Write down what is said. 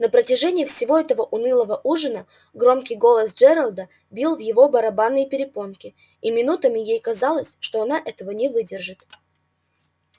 на протяжении всего этого унылого ужина громкий голос джералда бил в его барабанные перепонки и минутами ей казалось что она этого не выдержит